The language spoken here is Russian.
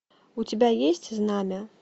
у тебя есть знамя